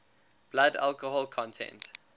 blood alcohol content